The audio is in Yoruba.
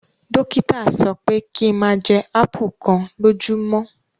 Dokita sọpẹ ki n máa jẹ ápù kan lójúmọ́!